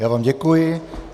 Já vám děkuji.